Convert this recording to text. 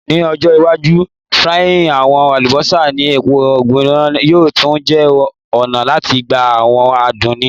Ni ojo iwaju frying awọn alubosa ni epo gbigbona yoo tun jẹ ọna lati gba awọn adun ni